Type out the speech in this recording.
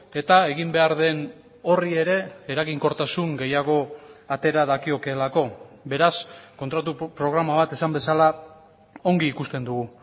eta egin behar den horri ere eraginkortasun gehiago atera dakiokeelako beraz kontratu programa bat esan bezala ongi ikusten dugu